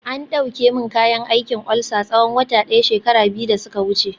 an dauke min kayan aikin ulcer tsawon wata daya shekara biyu da suka wuce